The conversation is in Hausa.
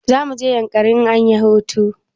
Za mu je yankari in anyi hutu